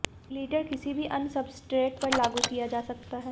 glitter किसी भी अन्य सब्सट्रेट पर लागू किया जा सकता है